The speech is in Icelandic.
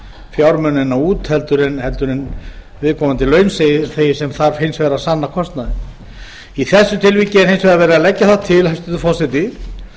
fjármunina út heldur en viðkomandi launþegi sem þarf hins vegar að sanna kostnaðinn í þessu tilviki er hins vegar verið að leggja það til hæstvirtur forseti